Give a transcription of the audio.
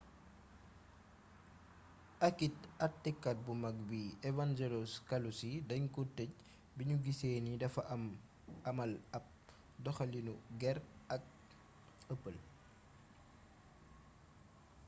akit atekat bu mag bi evangelos kalousis dañ ko tëj biñu gisee ni dafa amal ab doxaliinu gér ak ëppël